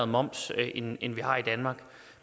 moms end vi har i danmark